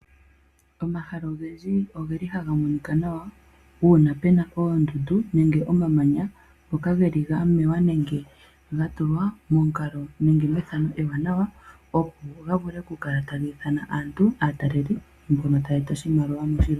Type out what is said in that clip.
Omahala ogendji oge li haga monika nawa. Uuna pena oondundu, nenge omamanya ngoka geli ga mewa, nenge ga tulwa momukalo nenge methano ewanawa, opo ga vule okukala taga ithana aantu, aatalelipo mbono taya eta oshimaliwa moshilongo.